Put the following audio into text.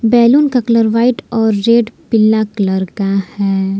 Balloon का colour white और red पीला कलर का है।